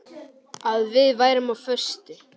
Að við værum á föstu.